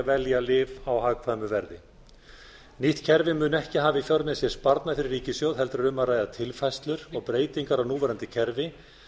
velja lyf á hagkvæmu verði nýtt kerfi mun ekki hafa í för með sér sparnað fyrir ríkissjóð heldur eru um að ræða tilfærslur og breytingar á núverandi kerfi